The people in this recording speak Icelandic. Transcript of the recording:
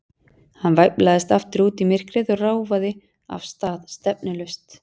Hann væflaðist aftur út í myrkrið og ráfaði af stað, stefnulaust.